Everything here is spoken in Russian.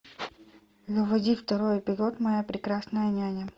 заводи второй эпизод моя прекрасная няня